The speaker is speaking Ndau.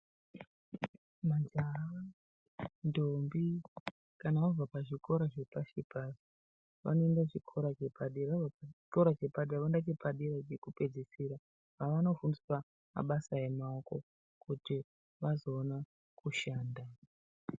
Majaha, ndombi kana vabva pazvikora zvepashipa, vanoenda kuchikora chepadera. Vabva pachikora chepadera vanoenda chepadera chekupedzisira kwavanofundiswa mabasa emaoko kuti vazoona kushanda.